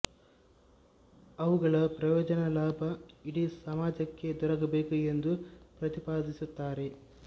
ಅವುಗಳ ಪ್ರಯೋಜನ ಲಾಭ ಇಡೀ ಸಮಾಜಕ್ಕೆ ದೊರಕಬೇಕು ಎಂದು ಪ್ರತಿಪಾದಿಸುತ್ತಾರೆ